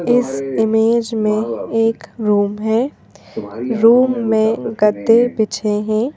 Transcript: इस इमेज में एक रूम है रूम में गद्दे बिछे हैं।